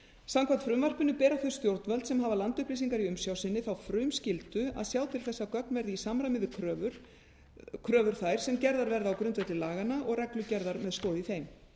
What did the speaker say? samkvæmt frumvarpinu bera þau stjórnvöld sem hafa landupplýsingar í umsjá sinni þá frumskyldu að sjá til þess að gögn verði í samræmi við kröfur þær sem gerðar verða á grundvelli laganna og reglugerðar með stoð í þeim